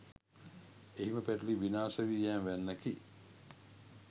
එහිම පැටලී විනාශ වී යෑම වැන්නකි.